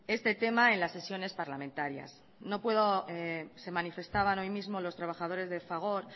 este tema en las sesiones parlamentarias se manifestaban hoy mismo los trabajadores de fagor